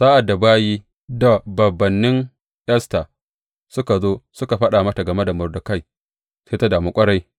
Sa’ad da bayi da bābānnin Esta suka zo suka faɗa mata game da Mordekai, sai ta damu ƙwarai.